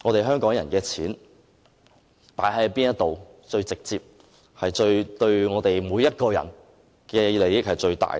香港人的錢投放在哪裏是最直接，對每個人都有最大的利益呢？